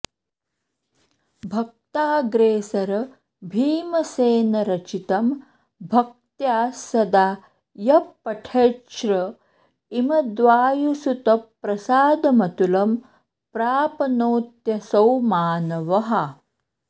भक्ताग्रेसरभीमसेनरचितं भक्त्या सदा यः पठेच्छ्र ईमद्वायुसुतप्रसादमतुलं प्रापनोत्यसौ मानवः